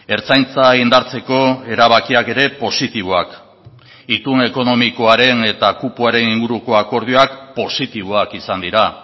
ertzaintza indartzeko erabakiak ere positiboak itun ekonomikoaren eta kupoaren inguruko akordioak positiboak izan dira